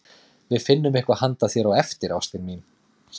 Við finnum eitthvað handa þér á eftir, ástin mín, sagði Lóa.